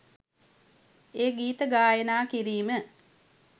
එය ගීත ගායනා කිරීම